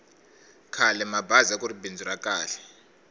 khalemabazi akuri bindzu ra kahl